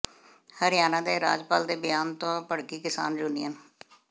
ਹਰਿਆਣਾ ਦੇ ਰਾਜਪਾਲ ਦੇ ਬਿਆਨ ਤੋਂ ਭੜਕੀ ਕਿਸਾਨ ਯੂਨੀਅਨ